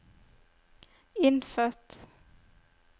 innfødt